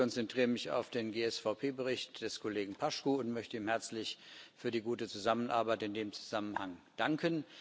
Ich konzentriere mich auf den GSVP Bericht des Kollegen Paşcu und möchte ihm herzlich für die gute Zusammenarbeit in dem Zusammenhang danken.